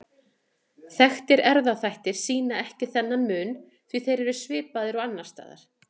Þekktir erfðaþættir skýra ekki þennan mun því þeir eru svipaðir og annars staðar.